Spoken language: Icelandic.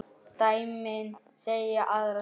Dæmin segja aðra sögu.